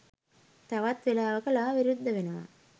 තවත් වෙලාවක ලා විරුද්ධ වෙනවා